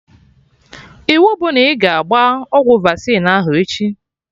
Iwu bụ na ị ga-agba ọgwụ vaccine ahụ echi!